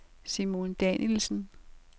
Simone Danielsen